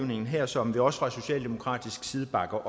her som vi også fra socialdemokratisk side bakker